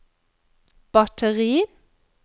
batteri